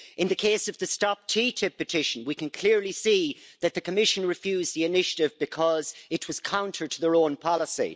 In the case of the Stop TTIP' petition, we can clearly see that the Commission refused the initiative because it was counter to their own policy.